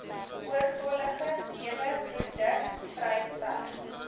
oortollige neweproduk vrystelling